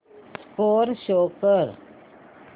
score show कर